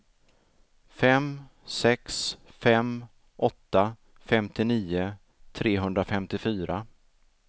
fem sex fem åtta femtionio trehundrafemtiofyra